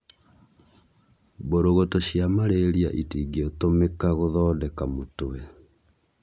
mbũrũgũtũ cia malaria itingĩtũmĩka gũthondeka mũtwe